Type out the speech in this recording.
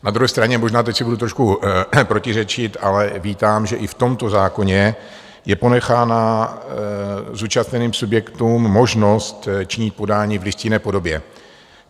Na druhé straně možná teď si budu trošku protiřečit, ale vítám, že i v tomto zákoně je ponechána zúčastněným subjektům možnost činit podání v listinné podobě.